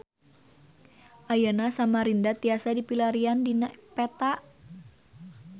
Ayeuna Samarinda tiasa dipilarian dina peta